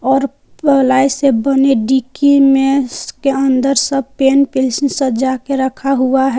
और प्लाई से बने डिकी में उसके अंदर सब पेन पेन्सिल सजा के रखा हुआ है।